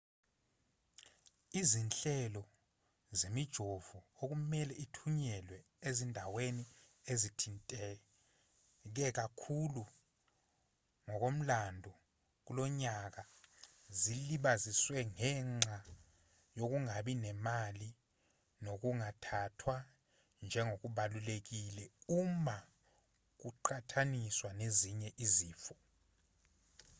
izinhlelo zemijovo okumelwe ithunyelwe ezindaweni ezithinteke kakhulu ngokomlando kulonyaka zilibazisiwe ngenxa yokungabi nemali nokungathathwa njengokubalulekile uma kuqhathaniswa nezinye izifo